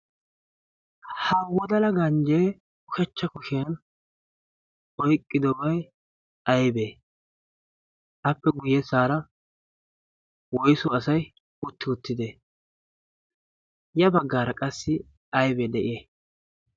Ha wodala ganjje ushachcha kushiyaan oyqqidobay aybbe? appe guyyessara woyssu asay utti uttide? ya baggaara qassi aybee de'iyay?